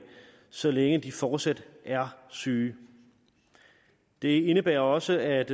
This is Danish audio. så længe de fortsat er syge det indebærer også at